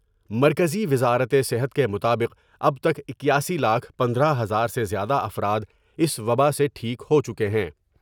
مرکزی وزارت صحت کے مطابق اب تک اکیاسی لاکھ پندرہ ہزار سے زیادہ افراداس وباء سے ٹھیک ہو چکے ہیں ۔